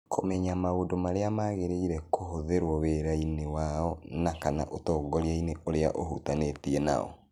Kũmenya maũndũ marĩa magĩrĩire kũhũthĩrũo wĩra-inĩ wao na/kana ũtongoria-inĩ ũrĩa ũhutanĩtie nao.